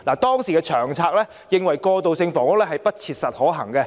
當時的《長策》認為過渡性房屋不切實可行。